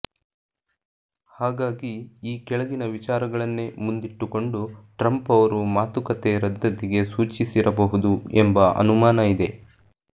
ಹಾಗಾಗಿ ಈ ಕೆಳಗಿನ ವಿಚಾರಗಳನ್ನೇ ಮುಂದಿಟ್ಟುಕೊಂಡು ಟ್ರಂಪ್ ಅವರು ಮಾತುಕತೆ ರದ್ದತಿಗೆ ಸೂಚಿಸಿರಬಹುದು ಎಂಬ ಅನುಮಾನ ಇದೆ